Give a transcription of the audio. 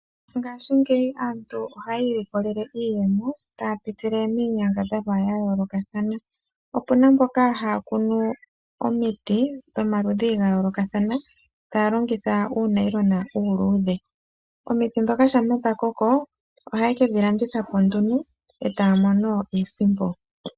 Ngaashingeyi aantu ohayi iilikolele iiyemo taya pitile miinyangadhalwa ya yoolokathana opuna mboka haya kunu omiti dhomaludhi ga yoolokathana taya longitha uunayilona uuludhe, omiti dhoka shampa dhakoko haye kedhi landitha po nduno etaya mono iisimpo.